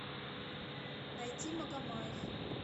найти магомаев